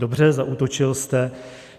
Dobře, zaútočil jste.